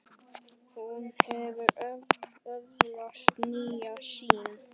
Hún hefur öðlast nýja sýn.